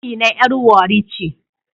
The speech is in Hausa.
Amina yar warri ce